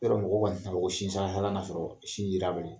Yɔrɔ mɔgɔ kɔni ti na fɔ ko sin sala sala na sɔrɔ sin ye da bali ?